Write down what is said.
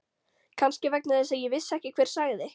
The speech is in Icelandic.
Kannski vegna þess að ég vissi ekki hver sagði.